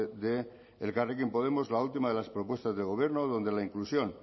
de elkarrekin podemos la última de las propuestas del gobierno donde la inclusión